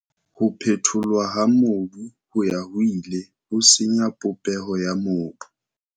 Ho phetholwa ha mobu ho ya ho ile ho senya popeho ya mobu.